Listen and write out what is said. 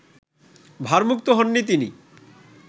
ভারমুক্ত হননি তিনি